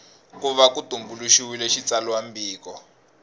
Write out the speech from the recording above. ku va ku tumbuluxiwile xitsalwambiko